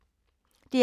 DR P2